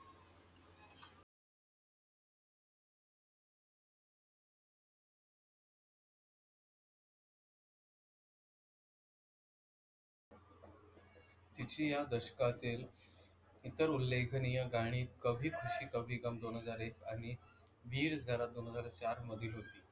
तिची या दशकातील इतर उल्लेखनीय गाणी कभी ख़ुशी कभी गम दोन हजार एक आणि वीरझारा दोन हजार चार मधील होते.